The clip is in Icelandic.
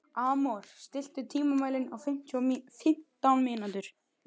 Amor, stilltu tímamælinn á fimmtán mínútur.